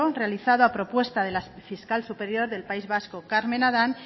realizado a propuesta del fiscal superior del país vasco carmen adán